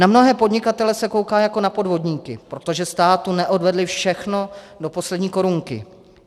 Na mnohé podnikatele se kouká jako na podvodníky, protože státu neodvedli všechno do poslední korunky.